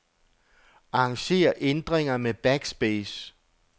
Arranger ændringer med backspace.